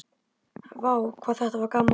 Vá hvað þetta var gaman!!